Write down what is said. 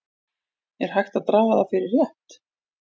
Er hægt að draga það fyrir rétt?